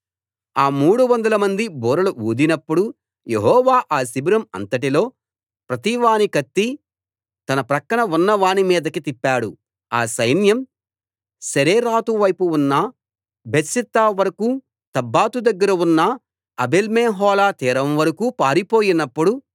ఆ మూడు వందలమంది బూరలు ఊదినప్పుడు యెహోవా ఆ శిబిరం అంతటిలో ప్రతి వాని కత్తి తన ప్రక్కన ఉన్న వాని మీదకి తిప్పాడు ఆ సైన్యం సెరేరాతు వైపు ఉన్న బేత్షిత్తా వరకూ తబ్బాతు దగ్గర ఉన్న ఆబేల్మెహోలా తీరం వరకూ పారిపోయినప్పుడు